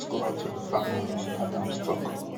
our hearts go out to di families adams tok